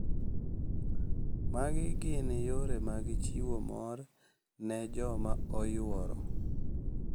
Magi gin yore mag chiwo mor ne joma oyuoro.